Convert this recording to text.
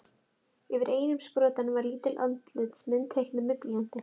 Yfir einum sprotanum var lítil andlitsmynd teiknuð með blýanti.